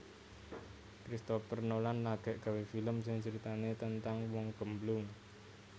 Christopher Nolan lagek gawe film sing critane tentang wong gemblung